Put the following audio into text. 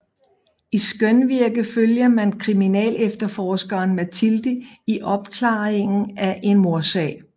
I Skønvirke følger man kriminalefterforskeren Mathilde i opklaringen af en mordsag